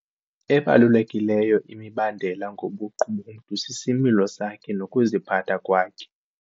Ebalulekileyo imibandela ngobuqu bomntu sisimilo sakhe nokuziphatha kwakhe.